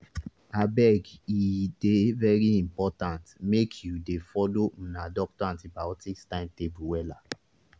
abege dey very important make you dey follow una doctor antibiotics timetable wella